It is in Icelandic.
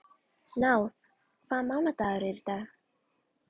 Náð, hvaða mánaðardagur er í dag?